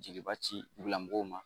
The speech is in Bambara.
Jeliba ci bila mɔgɔw ma